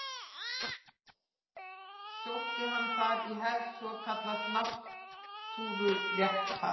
Sótti hann þar í hefð svokallaðs náttúruréttar.